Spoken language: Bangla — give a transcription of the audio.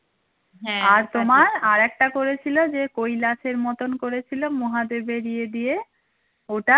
আর তোমার আরেকটা করেছিল যে কৈলাসের মতন করেছিল মহাদেবের ইয়ে দিয়ে ওটা